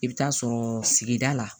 I bɛ taa sɔrɔ sigida la